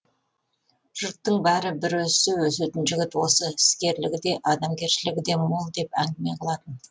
жұрттың бәрі бір өссе өсетін жігіт осы іскерлігі де адамгершілігі де мол деп әңгіме қылатын